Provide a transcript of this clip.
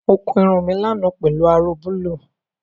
Mo kun irun mi lánàá pelu aró búlúù